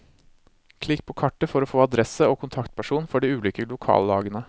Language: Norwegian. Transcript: Klikk på kartet for å få adresse og kontaktperson for de ulike lokallagene.